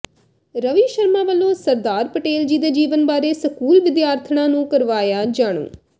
ਰਵੀ ਸ਼ਰਮਾ ਵਲੋਂ ਸਰਦਾਰ ਪਟੇਲ ਜੀ ਦੇ ਜੀਵਨ ਬਾਰੇ ਸਕੂਲ ਵਿਦਿਆਰਥਣਾਂ ਨੂੰ ਕਰਵਾਇਆ ਜਾਣੂ